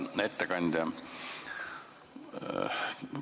Hea ettekandja!